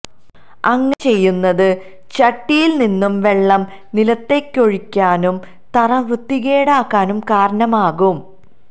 അങ്ങനെ ചെയ്യുന്നത് ചട്ടിയില് നിന്ന് വെള്ളം നിലത്തേക്കൊഴുകാനും തറ വൃത്തികേടാകാനും കാരണമാകും